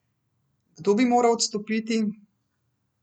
Kdo bi moral odstopiti?